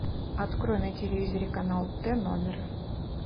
открой на телевизоре канал т номер